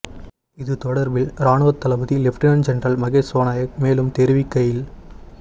இது தொடர்பில் இராணுவத் தளபதி லெப்டினன்ட் ஜெனரல் மகேஷ் சேனநாயக்க மேலும் தெரிவிக்கையில்